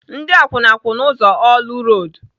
Ndị akwụna kwụ n'ụzọ Orlu road.